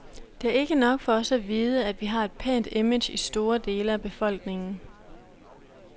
Det er ikke nok for os at vide, at vi har et pænt image i store dele af befolkningen.